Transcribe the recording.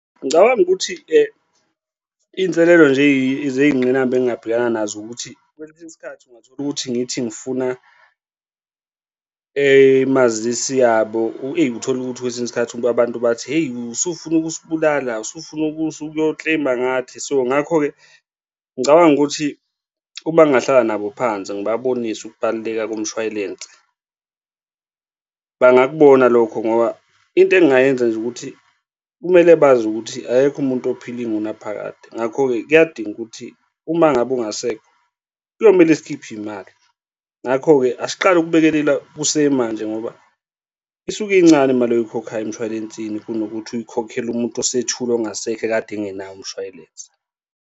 Ngicabanga ukuthi-ke iy'nselelo nje ezey'ngqinamba engingabhekana nazo ukuthi kwesinye isikhathi ungathola ukuthi ngithi ngifuna mazisi yabo, eyi, ngithole ukuthi kwesinye isikhathi abantu bathi, hheyi, usufuna ukusibulala, usufuna ukuyo-claim-a ngathi. So, ngakho-ke ngicabanga ukuthi uma ngingahlala nabo phansi, ngibabonise ukubaluleka komshwalensi bangakubona lokho ngoba into engingayenza nje ukuthi kumele bazi ukuthi akekho umuntu ophila ingunaphakade. Ngakho-ke kuyadinga ukuthi uma ngabe ungasekho kuyomele sikhiphe iy'mali, ngakho-ke asiqale ukubhekelela kusemanje ngoba isuke incane mali oyikhokhayo emshwalensini kunokuthi uyikhokhele umuntu osethule ongasekho ekade engenayo umshwalense.